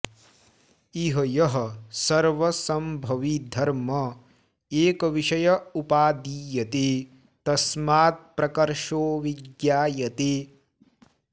इह यः सर्वसंभवी धर्म एकविषय उपादीयते तस्मात्प्रकर्षो विज्ञायते